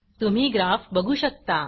तुम्ही ग्राफ बघू शकता